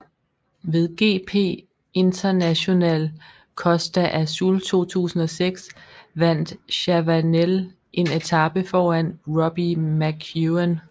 Ved GP Internacional Costa Azul 2006 vandt Chavanel en etape foran Robbie McEwen